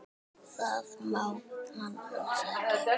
Það má hann alls ekki.